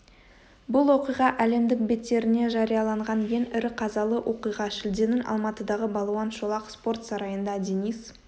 бұл оқиға әлемдік беттеріне жарияланған ең ірі қазалы оқиға шілденің алматыдағы балуан шолақ спорт сарайында денис